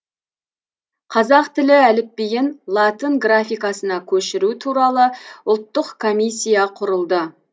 қазақ тілі әліпбиін латын графикасына көшіру туралы ұлттық комиссия құрылды